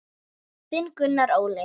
Þinn Gunnar Óli.